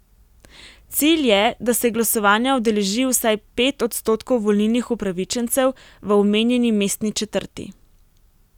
Cilj je, da se glasovanja udeleži vsaj pet odstotkov volilnih upravičencev v omenjeni mestni četrti.